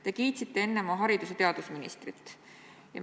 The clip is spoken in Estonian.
Te kiitsite enne oma haridus- ja teadusministrit.